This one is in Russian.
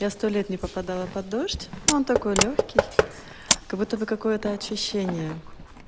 я сто лет не попадала под дождь он такой лёгкий как будто бы какое-то очищение